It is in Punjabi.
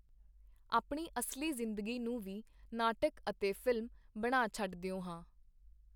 ਆਪਣੀ ਅਸਲੀ ਜ਼ਿੰਦਗੀ ਨੂੰ ਵੀ ਨਾਟਕ ਅਤੇ ਫ਼ਿਲਮ ਬਣਾ ਛਡਦਿਓ ਹਾਂ.